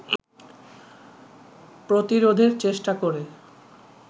প্রতিরোধের চেষ্টা করে